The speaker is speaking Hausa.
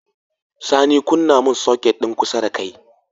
Sani kunna mun soket din kusa dakai